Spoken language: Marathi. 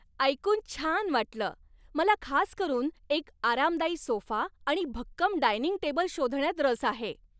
ऐकून छान वाटलं! मला खास करून एक आरामदायी सोफा आणि भक्कम डायनिंग टेबल शोधण्यात रस आहे.